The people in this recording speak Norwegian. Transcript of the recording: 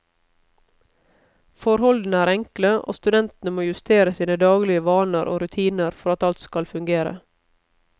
Forholdene er enkle, og studentene må justere sine daglige vaner og rutiner for at alt skal fungere.